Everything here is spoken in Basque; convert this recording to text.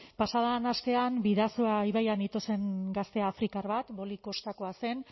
pasa den astean bidasoa ibaian ito zen gazte afrikar bat boli kostako zen